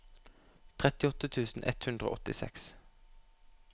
trettiåtte tusen ett hundre og åttiseks